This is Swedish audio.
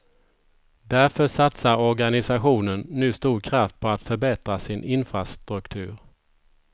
Därför satsar organisationen nu stor kraft på att förbättra sin infrastruktur.